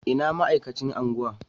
Ina ma'aikacin unguwa?